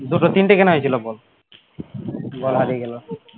দুটো তিনটে কেনা হয়েছিল বল বল হারিয়ে গেলো